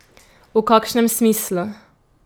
V kakšnem smislu?